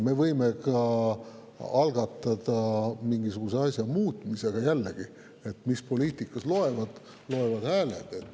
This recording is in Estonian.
Me võime ka algatada mingisuguse asja muutmise, aga jällegi, poliitikas loevad hääled.